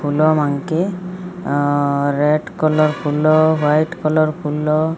ଫୁଲ ମନେକେ red colour ଫୁଲ white colour ଫୁଲ --